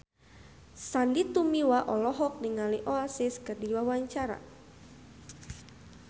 Sandy Tumiwa olohok ningali Oasis keur diwawancara